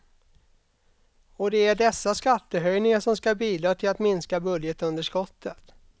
Och det är dessa skattehöjningar som ska bidra till att minska budgetunderskottet.